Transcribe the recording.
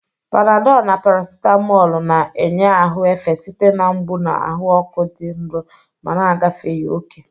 Panadolu na parasitamoolu na-enye ahụ efe site na mgbu na ahụ ọkụ dị nro ma na-agafeghị oke.